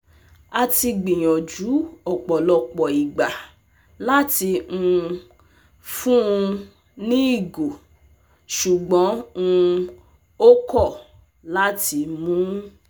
A ti gbiyanju ọpọlọpọ igba lati um fun un ni igo, ṣugbọn um o kọ lati mu